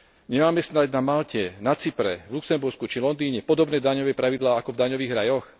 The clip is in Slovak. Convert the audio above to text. Nemáme snáď na Malte, na Cypre, v Luxembursku či Londýne podobné daňové pravidlá ako v daňových rajoch?